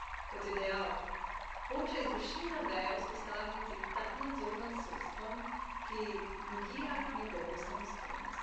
Kot je dejal, hoče izvršilna veja vzpostaviti tak nadzor nad sodstvom, ki negira njegovo samostojnost.